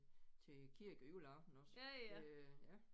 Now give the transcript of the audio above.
Til kirke æ juleaften også øh ja